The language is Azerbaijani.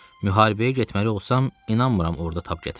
Müharibəyə getməli olsam, inanmıram orda tab gətirəm.